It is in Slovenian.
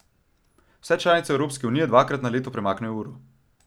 Vse članice Evropske unije dvakrat na leto premaknejo uro.